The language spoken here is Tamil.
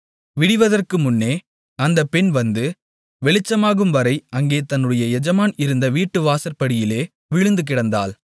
விடிவதற்கு முன்னே அந்தப் பெண் வந்து வெளிச்சமாகும்வரை அங்கே தன்னுடைய எஜமான் இருந்த வீட்டுவாசற்படியிலே விழுந்துகிடந்தாள்